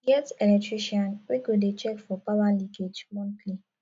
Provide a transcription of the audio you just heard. get electrician wey go dey check for power leakage monthly